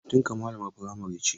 Auntynka malamar firamare ce?